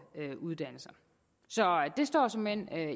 uddannelser så det står såmænd